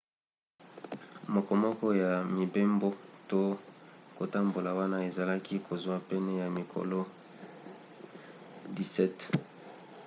mokomoko ya mibembo to kotambola wana ezalaki kozwa pene ya mikolo 17